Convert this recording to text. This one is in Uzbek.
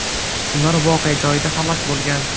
Ular voqea joyida halok bo‘lgan.